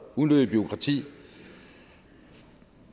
unødigt bureaukrati og